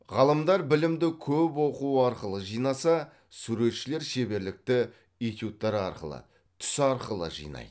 ғалымдар білімді көп оқу арқылы жинаса суретшілер шеберлікті этюдтер арқылы түс арқылы жинайды